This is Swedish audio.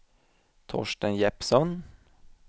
Torsten Jeppsson